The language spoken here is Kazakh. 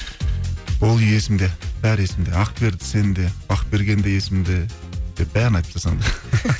бұл үй есімде бәрі есімде ақберді сен де бақберген де есімде деп бәрін айтып тастасаң